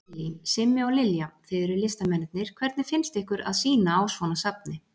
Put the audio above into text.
Lillý: Simmi og Lilja, þið eruð listamennirnir, hvernig finnst ykkur að sýna á svona safni?